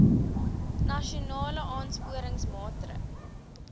nasionale aansporingsmaatre ls